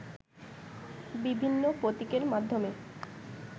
বিভিন্ন প্রতীকের মাধ্যমে